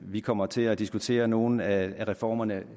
vi kommer til at diskutere nogle af reformerne